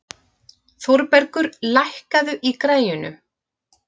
Þórbergur, lækkaðu í græjunum.